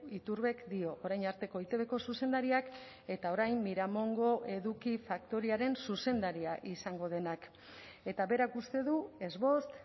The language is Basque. iturbek dio orain arteko eitbko zuzendariak eta orain miramongo eduki faktoriaren zuzendaria izango denak eta berak uste du ez bost